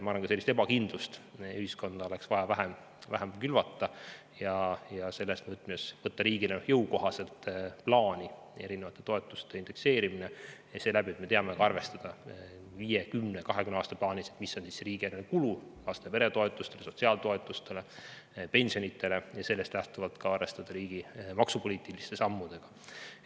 Ma arvan, et oleks vaja vähem ühiskonda sellist ebakindlust külvata ja selles võtmes tuleks võtta riigil jõukohaselt plaani eri toetuste indekseerimine niimoodi, et me teame arvestada, mis on viie, kümne või kahekümne aasta pärast riigieelarveline kulu laste‑ ja peretoetustele, sotsiaaltoetustele, pensionidele, ning sellest lähtuvalt saame arvestada riigi maksupoliitiliste sammudega.